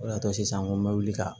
O de y'a to sisan ko n bɛ wuli ka